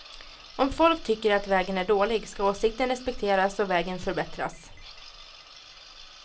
Om folk tycker att vägen är dålig ska åsikten respekteras och vägen förbättras.